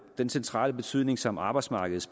den centrale betydning som arbejdsmarkedet